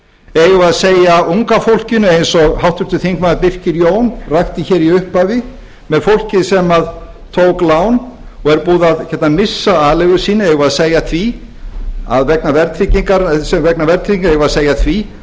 eigum við að segja unga fólkinu eins og háttvirtur þingmaður birkir jón rakti hér í upphafi með fólkið sem tók lán og er búið að missa aleigu sína vegna verðtryggingar eigum við að segja því